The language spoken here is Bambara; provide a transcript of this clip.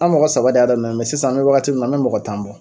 An mɔgɔ saba de y'a daminɛ mɛ sisan an bɛ wagati min na an bɛ mɔgɔ tan bɔ.